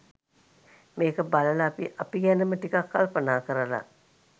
මේක බලලා අපි අපි ගැනම ටිකක් කල්පනා කරල